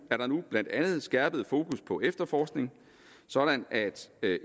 blandt andet skærpet fokus på efterforskning sådan at